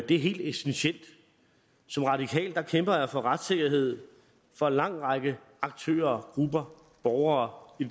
det er helt essentielt som radikal kæmper jeg for retssikkerhed for en lang række aktører grupper og borgere i